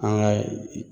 An ka